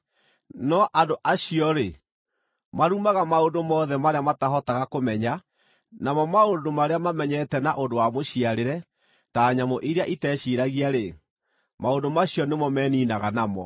No andũ acio-rĩ, marumaga maũndũ mothe marĩa matahotaga kũmenya; namo maũndũ marĩa mamenyete na ũndũ wa mũciarĩre, ta nyamũ iria iteciiragia-rĩ, maũndũ macio nĩmo meniinaga namo.